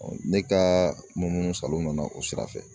ne kaaa munumunu salo na o sira fɛ.